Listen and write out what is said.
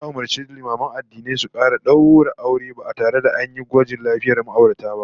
Za'a umurci limaman addinai kar su kara daura aure ba tare da an yi gwajin lafiyar ma'aurata ba